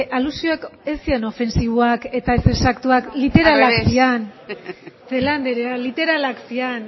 alusioak ez ziren ofensiboak eta ez exaktuak literalak ziren celaá andrea literalak ziren